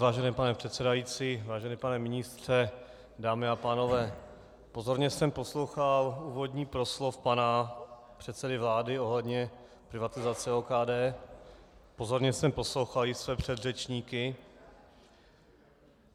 Vážený pane předsedající, vážený pane ministře, dámy a pánové, pozorně jsem poslouchal úvodní proslov pana předsedy vlády ohledně privatizace OKD, pozorně jsem poslouchal i své předřečníky.